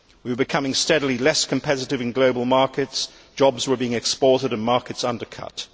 We were becoming steadily less competitive in global markets, jobs were being exported and markets undercut.